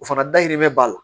O fana dayirimɛ bɛ b'a la